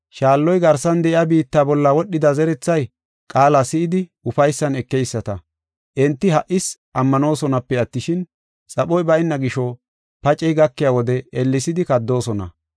Shaalloy garsan de7iya biitta bolla wodhida zerethay qaala si7idi ufaysan ekeyisata. Enti ha77is ammanoosonape attishin, xaphoy bayna gisho paacey gakiya wode ellesidi kaddoosona.